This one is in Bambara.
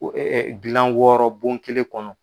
gilan wɔɔrɔ bon kelen kɔnɔ.